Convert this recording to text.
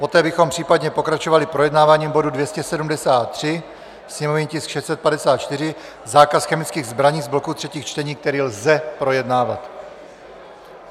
Poté bychom případně pokračovali projednáváním bodu 273, sněmovní tisk 654, zákaz chemických zbraní, z bloku třetích čtení, který lze projednávat.